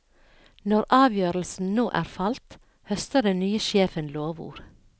Når avgjørelsen nå er falt, høster den nye sjefen lovord.